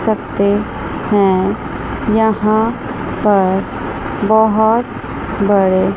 सकते हैं यहां पर बहुत बड़े--